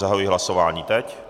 Zahajuji hlasování teď.